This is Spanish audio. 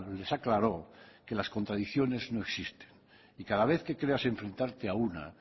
les aclaró que las contradicciones no existen y cada vez que creas enfrentarte a una